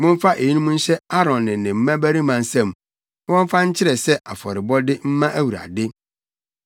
Momfa eyinom nhyɛ Aaron ne ne mmabarima nsam na wɔmfa nkyerɛ sɛ afɔrebɔde mma Awurade.